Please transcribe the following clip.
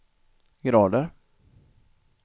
grader